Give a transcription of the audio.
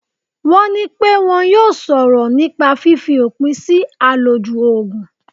Wọ́n ní pẹ́ wọn yóò sọ̀rọ̀ nípa fífi òpin sí àlòjù Ògùn.